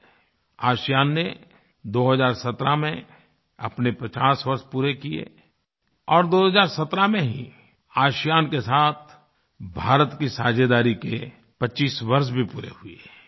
ASEAN ASEAN ने 2017 में अपने 50 वर्ष पूरे किए और 2017 में ही आसियान आसियान के साथ भारत की साझेदारी के 25 वर्ष भी पूरे हुए हैं